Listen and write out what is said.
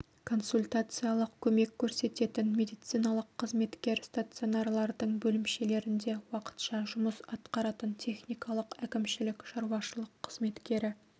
консультациялық көмек көрсететін медициналық қызметкер стационарлардың бөлімшелерінде уақытша жұмыс атқаратын техникалық әкімшілік-шаруашылық қызметкері